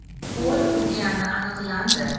qo‘l urgani aniqlandi.